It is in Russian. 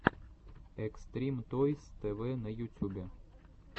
экстрим тойс тэ вэ на ютюбе